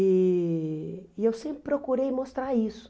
E e eu sempre procurei mostrar isso.